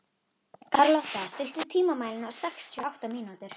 Karlotta, stilltu tímamælinn á sextíu og átta mínútur.